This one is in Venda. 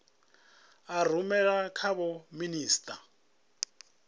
a rumela kha vho minisita